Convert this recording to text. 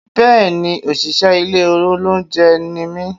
Bẹ́ẹ̀ni òṣìṣẹ́ ilé olóúnjẹ ni mí?